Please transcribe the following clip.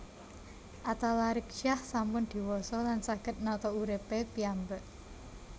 Atalarik Syah sampun diwasa lan saget nata urip e piyambak